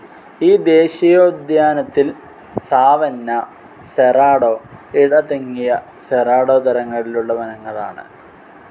ഈ ദേശീയോദ്യാനത്തിൽ സാവന്ന, സെറാഡോ, ഇടതിങ്ങിയ സെറാഡോ തരങ്ങളിലുള്ള വനങ്ങളാണ്.